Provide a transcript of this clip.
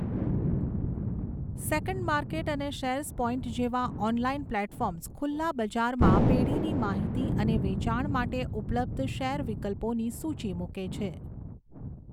Second market અને Sharespoint જેવા online platforms ખુલ્લા બજારમાં પેઢીની માહિતી અને વેચાણ માટે ઉપલબ્ધ શેર વિકલ્પોની સૂચી મૂકે છે.